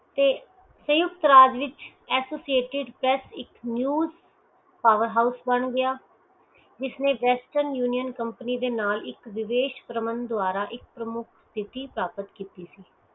ਤੇ ਸੰਯੁਕਤ ਰਾਜ ਵਿਚ ਐਸੋਸ਼ਟੇਡ ਪੇਸਟ ਇਕ ਨਿਊਜ਼ ਪੋਵੈਰ ਹੋਸ਼ ਬਣ ਗਿਆ ਜਿਸਨੈ western union ਕੰਪਨੀ ਦੇ ਨਾਲ ਇਕ ਵਿਵੇਸ਼ ਪ੍ਰਵਾਂਦ ਦਵਾਰਾ ਸਥਿਤਹਿ ਪ੍ਰਾਪਤ ਕੀਤੀ ਸੀ